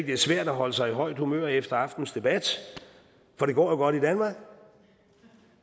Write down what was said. det er svært at holde sig i højt humør efter aftenens debat for det går i danmark